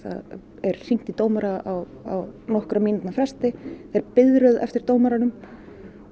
er hringt í dómara á nokkra mínútna fresti er biðröð eftir dómaranum og